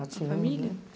A família?